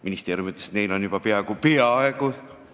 Ministeerium ütles, et neil on juba peaaegu – peaaegu!